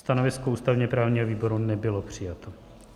Stanovisko ústavně-právního výboru nebylo přijato.